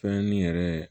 Fɛn ni yɛrɛ